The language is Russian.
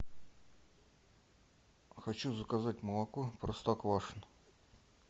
хочу заказать молоко простоквашино